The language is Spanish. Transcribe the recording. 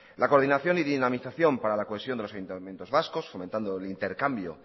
la coordinación y dinamización para la cohesión de los ayuntamientos vascos fomentando el intercambio